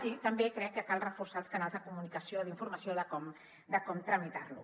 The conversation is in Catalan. i també crec que cal reforçar els canals de comunicació i d’informació de com tramitar·lo